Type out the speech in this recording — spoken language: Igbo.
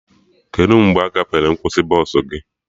Kedụ mgbe agafere nkwụsị bọsụ gị?